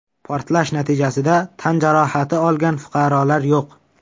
Portlash natijasida tan jarohati olgan fuqarolar yo‘q.